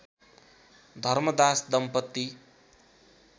धर्मदास दम्पति